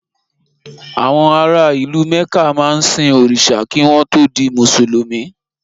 Àwọn ara ìlú Mẹ̀ká máa ń sin òrìṣà kí wọ́n tó di Mùsùlùmí.